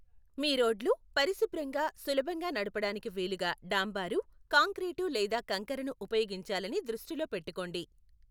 మీ రోడ్లు పరిశుభ్రంగా, సులభంగా నడపడానికి వీలుగా డాంబరు, కాంక్రీటు లేదా కంకరను ఉపయోగించాలని దృష్టిలో పెట్టుకోండి.